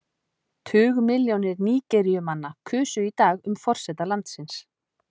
Tugmilljónir Nígeríumanna kusu í dag um forseta landsins.